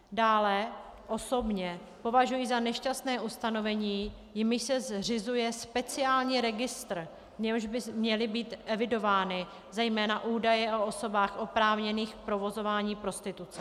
Dále osobně považuji za nešťastné ustanovení, jímž se zřizuje speciální registr, v němž by měly být evidovány zejména údaje o osobách oprávněných k provozování prostituce.